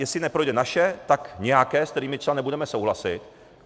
Jestli neprojde naše, tak nějaké, s kterým třeba nebudeme souhlasit.